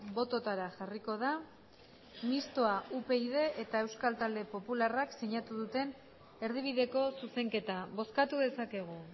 bototara jarriko da mistoa upyd eta euskal talde popularrak sinatu duten erdibideko zuzenketa bozkatu dezakegu